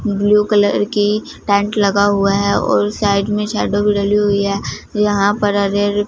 blue colour की tent लगा हुआ है और उस साइड में हुई है यहां पर हरे हरे--